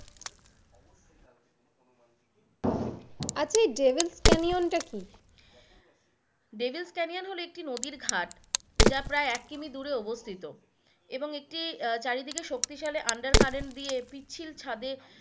আচ্ছা এই ডেভিলস কেনিওনটা কি?